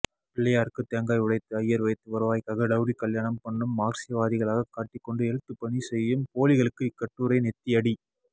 பிள்ளையாருக்கு தேங்காய் உடைத்து ஐயர் வைத்து வருவாய்க்காக டவுரீகல்யாணம் பண்ணும் மாக்சியவாதிகளாக காட்டிக்கொண்டு எழுத்துப்பணி செய்யும் போலிகளுக்கு இக்கட்டுரை நெத்தியடி